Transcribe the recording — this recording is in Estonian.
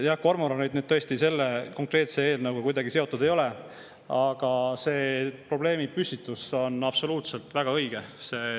Jah, kormoranid selle konkreetse eelnõuga tõesti kuidagi seotud ei ole, aga see probleemipüstitus on absoluutselt väga õige.